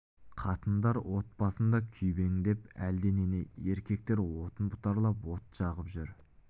қатындар от басында күйбеңдеп әлденені еркектер отын бұтарлап от жағып жүр